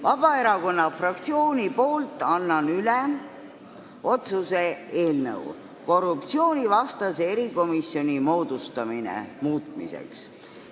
Vabaerakonna fraktsiooni nimel annan üle Riigikogu otsuse "Riigikogu otsuse "Korruptsioonivastase erikomisjoni moodustamine" muutmine" eelnõu.